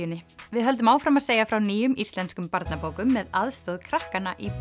Kiljunni við höldum áfram að segja frá nýjum íslenskum barnabókum með aðstoð krakkanna í